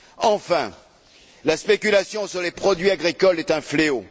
Enfin, la spéculation sur les produits agricoles est un fléau.